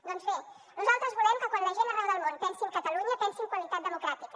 doncs bé nosaltres volem que quan la gent arreu del món pensi en catalunya pensi en qualitat democràtica